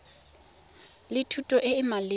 le thuto e e maleba